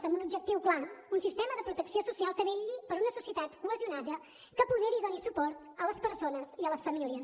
amb un objectiu clar un sistema de protecció social que vetlli per una societat cohesionada que apoderi i doni suport a les persones i a les famílies